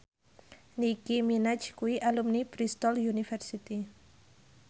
Nicky Minaj kuwi alumni Bristol university